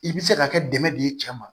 I bɛ se ka kɛ dɛmɛ don i cɛ ma